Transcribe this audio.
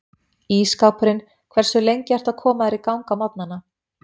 Ísskápurinn Hversu lengi ertu að koma þér í gang á morgnanna?